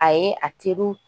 Ayi a teriw